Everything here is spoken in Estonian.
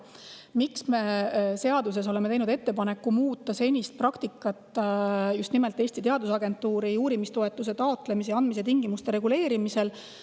Miks me oleme teinud seadus ettepaneku muuta senist praktikat just nimelt Eesti Teadusagentuuri uurimistoetuse taotlemise ja andmise tingimuste reguleerimisel?